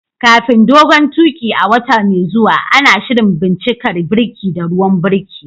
Kafin dogon tuƙi a wata mai zuwa, ana shirin bincikar birki da ruwan birki.